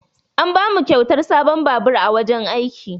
An bamu kyautar sabon babur a wurin aiki.